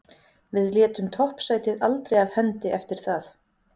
Við létum toppsætið aldrei af hendi eftir það.